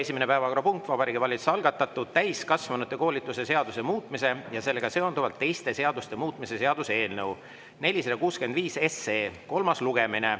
Esimene päevakorrapunkt on Vabariigi Valitsuse algatatud täiskasvanute koolituse seaduse muutmise ja sellega seonduvalt teiste seaduste muutmise seaduse eelnõu 465 kolmas lugemine.